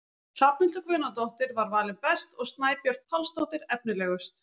Hrafnhildur Guðnadóttir var valin best og Snæbjört Pálsdóttir efnilegust.